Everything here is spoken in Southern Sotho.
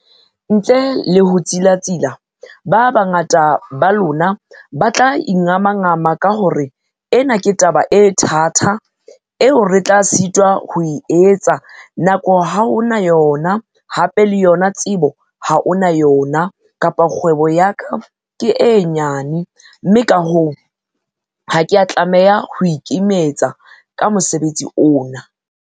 Ntle le ho tsilatsila, ba bangata ba lona ba tla ingamangama ka ho re ena ke taba e thata, eo re tla sitwa ho e etsa nako ha o na yona, hape le yona tsebo ha o na yona le, kapa kgwebo ya ka ke e nyane, mme ka hoo, ha ke a tlameha ho ikimetsa ka mosebetsi ona.